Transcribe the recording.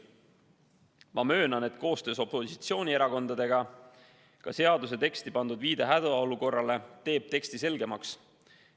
Ma möönan, et koostöös opositsioonierakondadega seaduse teksti pandud viide hädaolukorrale teeb teksti selgemaks.